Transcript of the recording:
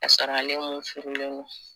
Ka sɔrɔ ale mun furulen don